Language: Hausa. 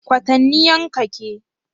Kwatanniyan Ka ke?